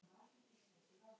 Hún syrgði hann mikið.